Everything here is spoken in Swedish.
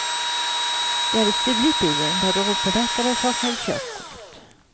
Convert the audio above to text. De hade stulit bilen, var drogpåverkade och saknade körkort.